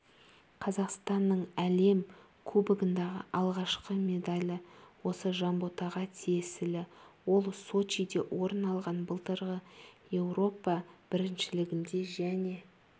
қазақстанның әлем кубогындағы алғашқы медалі осы жанботаға тиесілі ол сочиде орын алған былтырғы еуропа біріншілігінде және